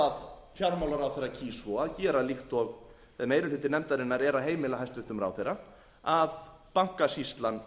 kýs svo að gera líkt og meiri hluti nefndarinnar er að heimila hæstvirtur ráðherra að bankasýslan